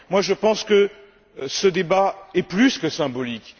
Je pense que ce débat est plus que symbolique.